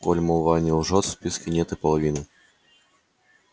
коль молва не лжёт в списке нет и половины